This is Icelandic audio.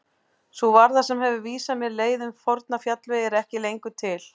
Sú varða sem hefur vísað mér leið um forna fjallvegi er ekki lengur til.